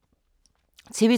TV 2